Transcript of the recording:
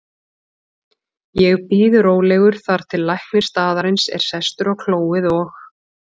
Ég bíð rólegur þar til læknir staðarins er sestur á klóið og